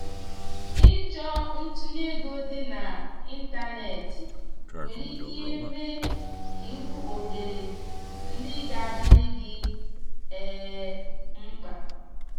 ịchọ ntunye ego dị na ịntanetị nwere ike mee ka i hụ ohere ndị ga adịrị gi um mkpa.